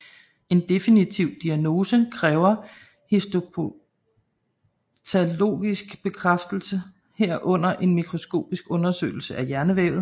En definitiv diagnose kræver histopatologisk bekræftelse herunder en mikroskopisk undersøgelse af hjernevævet